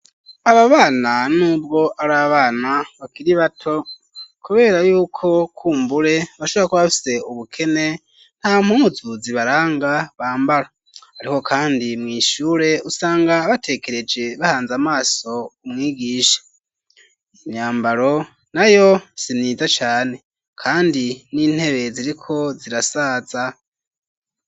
Aba bana n'ubwo ari abana bakiri bato, kubera y'uko kumbure bashobora ko bafise ubukene, nta mpuzu zibaranga bambara ,ariko kandi mw'ishure usanga batekereje ,bahanze amaso umwigisha, imyambaro nayo sinziza cane, kandi n'intebe ziriko zirasaza.